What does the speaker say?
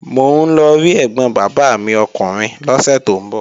Mò ń lọ rí ẹ̀gbọ̀n bàbá mi ọkùnrin lọ́sẹ̀ tó ń bọ̀